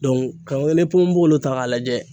k'an ponponpogolon ta k'a lajɛ